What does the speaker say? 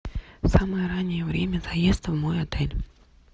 самое раннее время заезда в мой отель